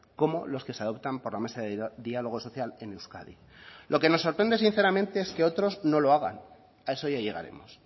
como los que se adoptan por la mesa de diálogo social en euskadi lo que nos sorprende sinceramente es que otros no lo hagan a eso ya llegaremos